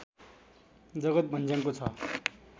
जगत भञ्ज्याङको छ